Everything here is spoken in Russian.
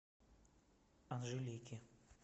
анжелики